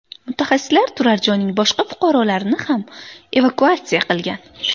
Mutaxassislar turar-joyning boshqa fuqarolarini ham evakuatsiya qilgan.